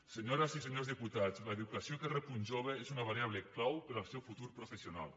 senyores i senyors diputats l’educació que rep un jove és una variable clau per al seu futur professional